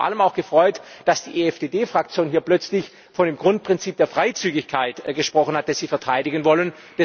Ich habe mich vor allem auch gefreut, dass die EFDD Fraktion hier plötzlich von dem Grundprinzip der Freizügigkeit gesprochen hat, das sie verteidigen wollen.